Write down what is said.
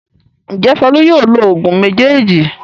Ǹjẹ́ Folú yóò lo òògùn méjèèjì?